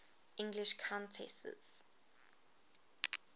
english countesses